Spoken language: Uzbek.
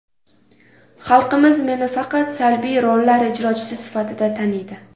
Xalqimiz meni faqat salbiy rollar ijrochisi sifatida taniydi.